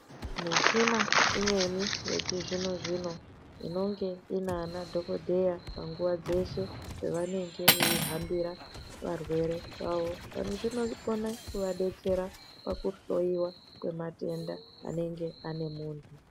Michina imweni yechizvino-zvino, inonge inaanadhokodheya panguwa dzeshe, pevanenge veihambira varwere vavo, dani izvi zvinokone kuvadetsera kuone matenda anenge ane munhu.